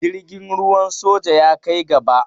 Jirgin ruwan soja ya kai gaba.